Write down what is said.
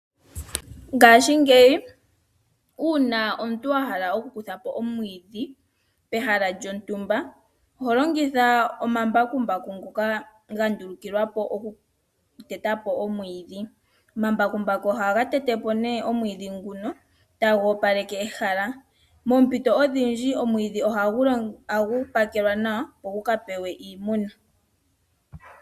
Ngaashingeyi uuna omuntu a hala okukutha po omwiidhi pehala lyontumba oho longitha omambakumbaku ngoka ga ndulukilwa po okuteta po omwiidhi. Omambakumbaku ohaga tete po omwiidhi nguno taga opaleke ehala. Moompito odhindji omwiidhi ohagu pakelwa nawa, opo gu ka pewe iimuna.